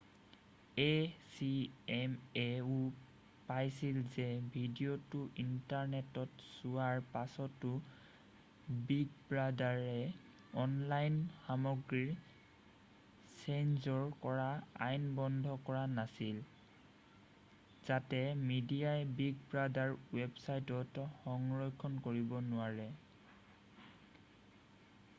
acma-ও পাইছিল যে ভিডিঅ'টো ইণ্টাৰনেটত চোৱাৰ পাছতো বিগ ব্ৰাদাৰে অনলাইন সামগ্ৰীৰ চেঞ্চৰ কৰা আইন বন্ধ কৰা নাছিল যাতে মেডিয়াই বিগ ব্ৰাদাৰ ৱেবছাইটত সংৰক্ষণ কৰিব নোৱাৰে।